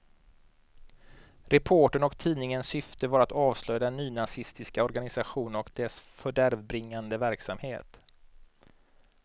Reporterns och tidningens syfte var att avslöja den nynazistiska organisationen och dess fördärvbringande verksamhet.